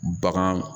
Bagan